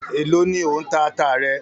Èló ni ò ń ta ata rẹ?